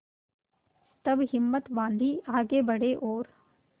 तब हिम्मत बॉँधी आगे बड़े और